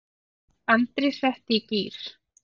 Andri setti í gír.